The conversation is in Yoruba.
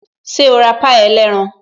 Ṣé o ra pie ẹlẹ́ran?